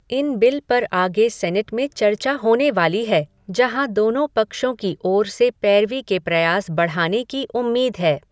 इन bill पर आगे senate में चर्चा होने वाली है, जहाँ दोनों पक्षों की ओर से पैरवी के प्रयास बढ़ाने की उम्मीद है।